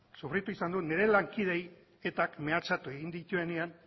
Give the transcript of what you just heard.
sufritu izan dut nire lankideei etak mehatxatu egin dituenean